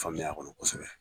Faamuya a kɔnɔ kosɛbɛ.